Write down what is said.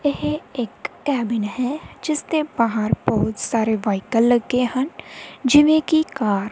ਇਹ ਇੱਕ ਕੈਬਿਨ ਹੈ ਜਿੱਸ ਦੇ ਬਾਹਰ ਬਹੁਤ ਸਾਰੇ ਵਹਾਇਕਲ ਲੱਗੇ ਹਨ ਜਿਵੇਂ ਕੀ ਕਾਰ ।